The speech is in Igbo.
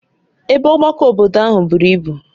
Ebe Ọgbakọ obodo ahụ buru ibu